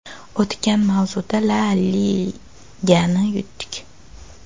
O‘tgan mavsum La Ligani yutdik.